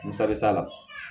Musali sa la